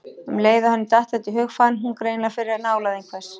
Um leið og henni datt þetta í hug fann hún greinilega fyrir nálægð einhvers.